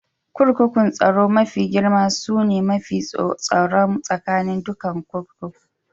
Kurkukun tsaro mafi girma sune mafi tsaron tsakanin dukan kurkukun.